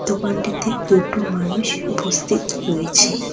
দোকানটিতে দুটো মানুষ উপস্থিত রয়েছে।